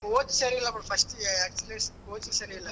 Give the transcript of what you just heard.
Coach ಸರಿ ಇಲ್ಲ ಬಿಡು first coach ಸರಿ ಇಲ್ಲಾ.